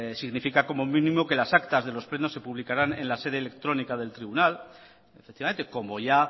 significa como mínimo que las actas de los plenos se publicarán en la sede electrónica del tribunal efectivamente como ya